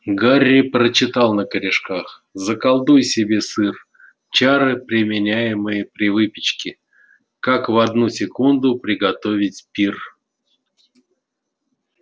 гарри прочитал на корешках заколдуй себе сыр чары применяемые при выпечке как в одну секунду приготовить пир